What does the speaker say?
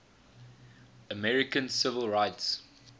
american civil rights